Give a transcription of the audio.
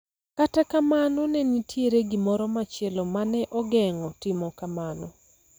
Kata kamano, ne nitie gimoro machielo ma ne ogeng�o timo kamano.